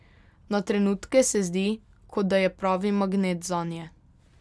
Na trenutke se zdi, kot da je pravi magnet zanje.